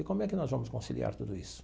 E como é que nós vamos conciliar tudo isso?